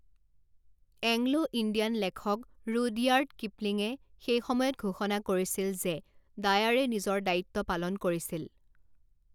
Anglo-Indian লেখক Rudyard কিপলিঙে সেই সময়ত ঘোষণা কৰিছিল যে ডায়াৰে নিজৰ দায়িত্ব পালন কৰিছিল।